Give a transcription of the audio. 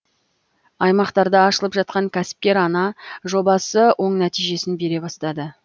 аймақтарда ашылып жатқан кәсіпкер ана жобасы оң нәтижесін бере бастады